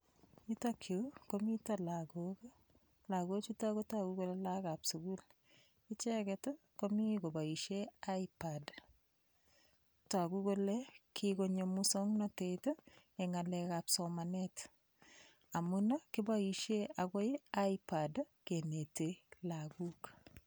Yutokyu komito lakok lakochuto kotoku kole lakokab sukul icheget komi koboishe hipad toku kole kikonyo muswong'natet eng' ng'alekab somanet amun kiboishe akoi hipad keneti lakok